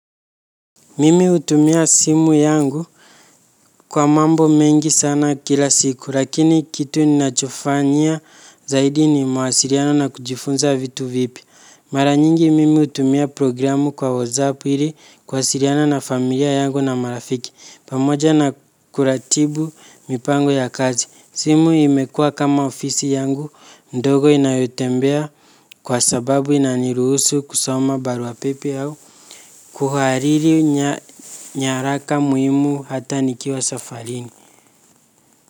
Mimi utumia simu yangu kwa mambo mengi sana kila siku, lakini kitu ninachofanyia zaidi ni mawasiriano na kujifunza vitu vipi. Mara nyingi mimi utumia programu kwa WhatsApp ili kwasiriana na familia yangu na marafiki, pamoja na kuratibu mipango ya kazi. Simu imekua kama ofisi yangu, ndogo inayotembea kwa sababu inaniruhusu kusoma barua pepe au. Kuhariri nyaraka muhimu hata nikiwa safarini.